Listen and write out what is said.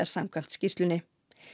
samkvæmt skýrslunni